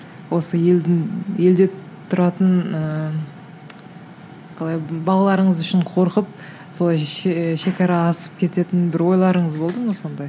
осы елдің елде тұратын ыыы қалай балаларыңыз үшін қорқып солай шегара асып кететін бір ойларыңыз болды ма сондай